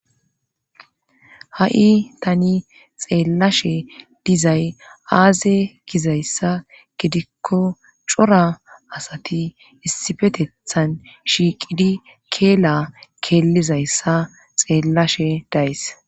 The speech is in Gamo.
Ha,i tani xeellashe dizay aaze gizayssa gidikko cora asati issifetethan shiiqidi keela keellizayssa xeellashe days